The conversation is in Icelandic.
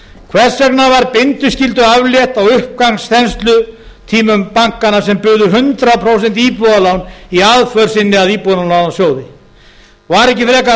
hvers vegna var bindiskyldu aflétt á uppgangsþenslutímum bankanna sem buðu hundrað prósent íbúðalán í aðför sinni að íbúðalánasjóði var ekki frekar ástæða til